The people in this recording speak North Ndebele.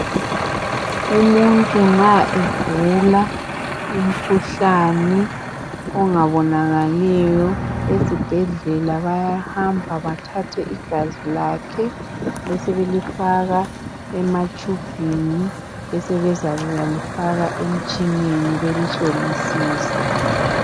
Umuntu nxa egula umkhuhlane ongabonakaliyo ezibhedlela bayahamba bathathe igazi lakhe bese belifaka ematshubhini besebezakuya lifaka emitshineni belihlolisise.